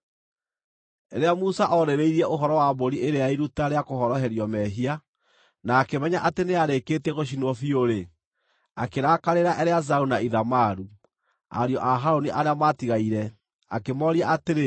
Rĩrĩa Musa oorĩrĩirie ũhoro wa mbũri ĩrĩa ya iruta rĩa kũhoroherio mehia, na akĩmenya atĩ nĩyarĩkĩtie gũcinwo biũ-rĩ, akĩrakarĩra Eleazaru na Ithamaru, ariũ a Harũni arĩa maatigaire, akĩmooria atĩrĩ,